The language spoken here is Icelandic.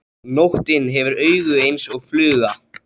Nóttin hefur augu eins og fluga.